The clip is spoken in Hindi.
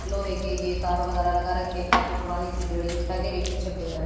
लोहे के ये तार वगैरह लगा रखें है काफी पुरानी सी बिल्डिंग दिखाइ दे रही पीछे पेड़ है।